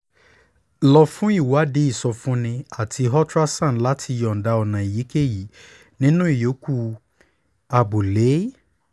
lọ fún ìwádìí ìsọfúnni àti ultrasound láti yọ̀ǹda ọ̀nà èyíkéyìí nínú ìyókù abúlé